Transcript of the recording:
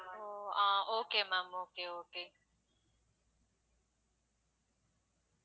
O ah okay ma'am okay okay